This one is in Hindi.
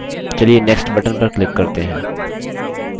next button पर click करते हैं